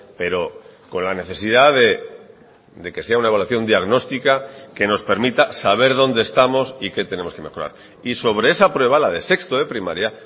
pero con la necesidad de que sea una evaluación diagnóstica que nos permita saber dónde estamos y qué tenemos que mejorar y sobre esa prueba la de sexto de primaria